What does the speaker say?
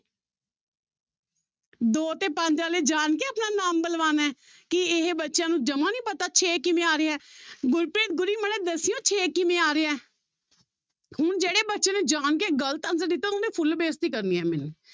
ਦੋ ਤੇ ਪੰਜ ਵਾਲੇ ਜਾਣ ਕੇ ਆਪਣਾ ਨਾਮ ਬੁਲਵਾਉਣਾ ਹੈ ਕੀ ਇਹ ਬੱਚਿਆਂ ਨੂੰ ਜਮਾ ਨੀ ਪਤਾ ਛੇ ਕਿਵੇਂ ਆ ਰਿਹਾ ਹੈ ਗੁਰਪ੍ਰੀਤ ਗੁਰੀ ਮਾੜਾ ਜਿਹਾ ਦੱਸਿਓ ਛੇ ਕਿਵੇਂ ਆ ਰਿਹਾ ਹੈ ਹੁਣ ਜਿਹੜੇ ਬੱਚੇੇ ਨੇ ਜਾਣਕੇ ਗ਼ਲਤ answer ਦਿੱਤਾ full ਬੇਇਜਤੀ ਕਰਨੀ ਹੈ ਮੈਨੇ